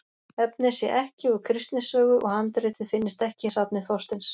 Efnið sé ekki úr Kristni sögu, og handritið finnist ekki í safni Þorsteins